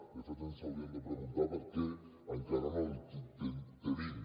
de fet ens hauríem de preguntar per què encara no el tenim